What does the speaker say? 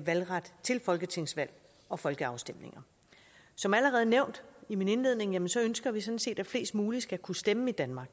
valgret til folketingsvalg og folkeafstemninger som allerede nævnt i min indledning ønsker ønsker vi sådan set at flest mulige skal kunne stemme i danmark